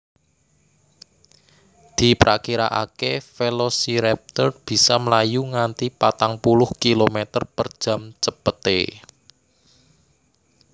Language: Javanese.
Diprakiraakè Velociraptor bisa mlayu nganti patang puluh kilometer per jam cepetè